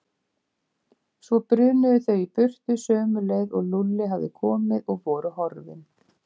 Svo brunuðu þau í burtu sömu leið og Lúlli hafði komið og voru horfin.